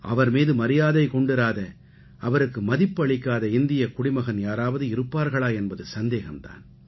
அவர் மீது மரியாதை கொண்டிராத அவருக்கு மதிப்பு அளிக்காத இந்தியக் குடிமகன் யாராவது இருப்பார்களா என்பது சந்தேகம் தான்